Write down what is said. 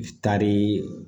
I taari